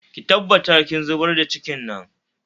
Ki tabbatar kin zubar da cikin nan